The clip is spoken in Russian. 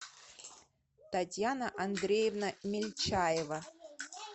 татьяна андреевна мельчаева